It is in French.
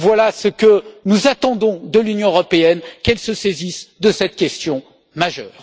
Voilà ce que nous attendons de l'Union européenne qu'elle se saisisse de cette question fondamentale.